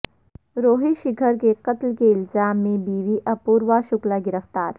روہت شیکھر کے قتل کے الزام میں بیوی اپوروا شکلا گرفتار